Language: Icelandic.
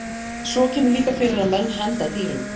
Svo kemur líka fyrir að menn henda dýrum.